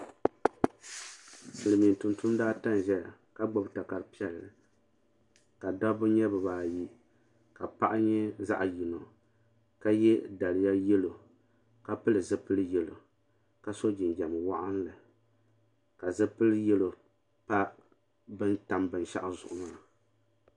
Silimiin tumtumdiba ata n zaya ka gbibi takari piɛlli ka dabba nyɛ bibaayi ka paɣa nyɛ zaɣa yino ka ye daliya yelo ka pili zipil yelo ka so jinjiɛm waɣinli ka zipil yelo pa bini tam binshaɣu zuɣu maa.